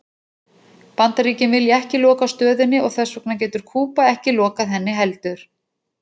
Bandaríkin vilja ekki loka stöðinni og þess vegna getur Kúba ekki lokað henni heldur.